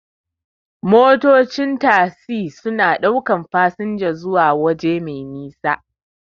Motocin tagzi suna ɗaukan fasinja suwa waje mai nisa.